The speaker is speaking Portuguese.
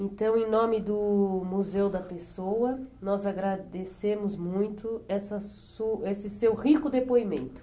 Então, em nome do Museu da Pessoa, nós agradecemos muito essa su esse seu rico depoimento.